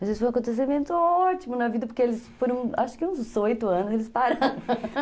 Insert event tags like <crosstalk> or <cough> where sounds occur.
Mas isso foi um acontecimento ótimo na vida, porque eles foram, acho que uns oito anos, eles pararam <laughs>